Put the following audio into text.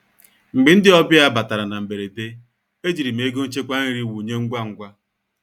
Mgbe ndị ọbịa batara na mberede, ejiri m ego nchekwa nri wụnye ngwa ngwa.